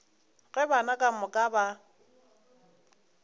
ge bana ka moka ba